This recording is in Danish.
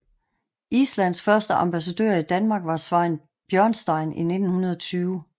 Islands første ambassadør i Danmark var Sveinn Björnsson i 1920